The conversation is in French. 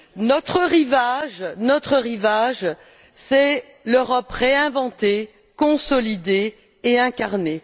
Notre rivage, c'est l'Europe réinventée, consolidée et incarnée.